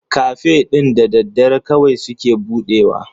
Cafe ɗin da dare kawai suke budewa.